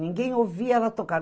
Ninguém ouvia ela tocar.